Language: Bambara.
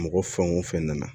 Mɔgɔ fɛn o fɛn nana